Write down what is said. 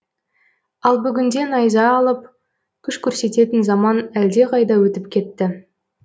ал бүгінде найза алып күш көрсететін заман әлде қайда өтіп кетті